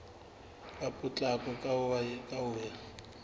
ka potlako ka ho ya